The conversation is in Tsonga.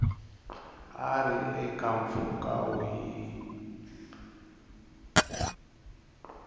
a ri eka mpfhuka wihi